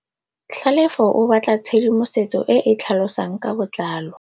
Tlhalefô o batla tshedimosetsô e e tlhalosang ka botlalô.